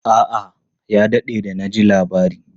A'a, ya daɗe da na ji labari.